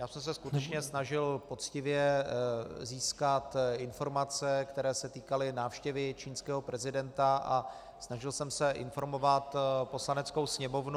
Já jsem se skutečně snažil poctivě získat informace, které se týkaly návštěvy čínského prezidenta, a snažil jsem se informovat Poslaneckou sněmovnu.